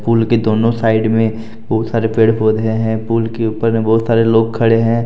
पुल के दोनों साइड में बहुत सारे पेड़ पौधे हैं पूल के ऊपर मे बहुत सारे लोग खड़े हैं।